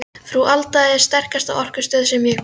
Frú Alda er sterkasta orkustöð sem ég hef kynnst.